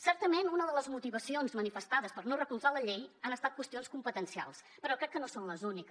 certament unes de les motivacions manifestades per no recolzar la llei han estat qüestions competencials però crec que no són les úniques